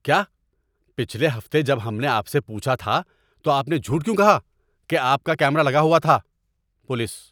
کیا؟ پچھلے ہفتے جب ہم نے آپ سے پوچھا تھا تو آپ نے جھوٹ کیوں کہا کہ آپ کا کیمرا لگا ہوا تھا؟ (پولیس)